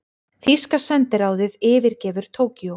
Þýska sendiráðið yfirgefur Tókýó